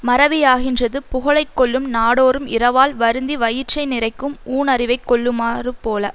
மறவியாகின்றது புகழைக்கொல்லும் நாடோறும் இரவால் வருந்தி வயிற்றை நிறைக்கும் ஊண் அறிவைக் கொல்லுமாறு போல